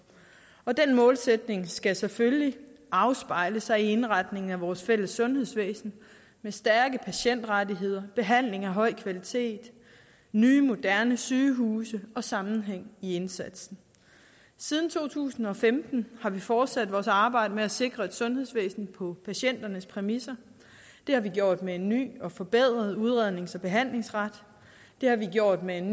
og den målsætning skal selvfølgelig afspejle sig i indretningen af vores fælles sundhedsvæsen med stærke patientrettigheder behandling af høj kvalitet nye moderne sygehuse og sammenhæng i indsatsen siden to tusind og femten har vi fortsat vores arbejde med at sikre et sundhedsvæsen på patienternes præmisser det har vi gjort med en ny og forbedret udrednings og behandlingsret det har vi gjort med en